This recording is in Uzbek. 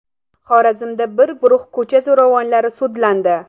Xorazmda bir guruh ko‘cha zo‘ravonlari sudlandi.